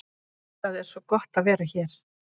Það er svo gott að vera hér.